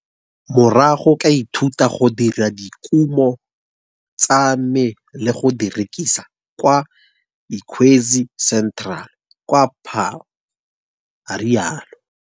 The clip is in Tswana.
Morago ka ithuta go dira dikumo tsa me le go di rekisa kwa Ikwezi Centre kwa Paarl, a rialo.